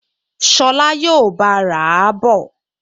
Ṣọlá yóò bá a rà á bọ̀